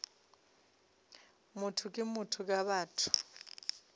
motho ke motho ka batho